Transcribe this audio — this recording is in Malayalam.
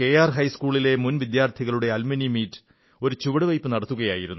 ഹൈസ്കൂളിലെ മുൻ വിദ്യാർഥികളുടെ അലുമ്നി മീറ്റ് ഒരു ചുവടുവയ്പ്പു നടത്തുകയായിരുന്നു